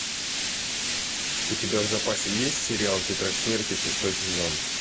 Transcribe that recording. у тебя в запасе есть сериал тетрадь смерти шестой сезон